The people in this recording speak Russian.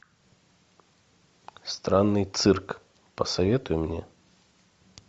странный цирк посоветуй мне